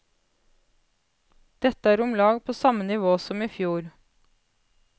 Dette er omlag på samme nivå som i fjor.